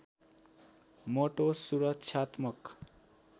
मोटो सुरक्षात्मक